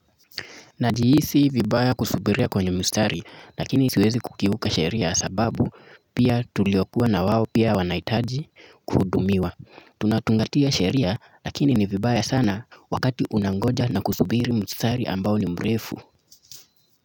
Najihisi vibaya kusubiria kwenye mstari lakini siwezi kukiuka sheria sababu pia tulio kuwa na wao pia wanahitaji kuhudumiwa. Tunatungatia sheria lakini ni vibaya sana wakati unangoja na kusubiri mstari ambao ni mrefu.